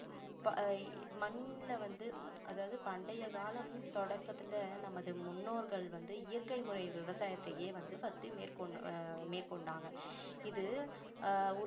அஹ் மண்ணுல வந்து அதாவது பண்டைய காலம் தொடக்கத்துல நமது முன்னோர்கள் வந்து இயற்கை முறை விவசாயத்தையே வந்து first அஹ் மேற்கொ~மேற்கொண்டாங்க இது ஆஹ்